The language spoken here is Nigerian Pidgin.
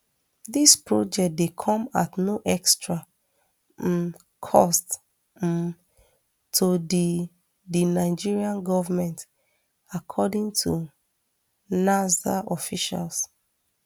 dis project dey come at no extra um cost um to di di nigeria goment according to nasrda officials